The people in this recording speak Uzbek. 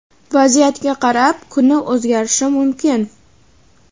Vaziyatga qarab, kuni o‘zgarishi mumkin.